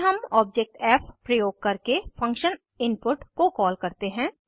फिर हम ऑब्जेक्ट फ़ प्रयोग करके फंक्शन इनपुट को कॉल करते हैं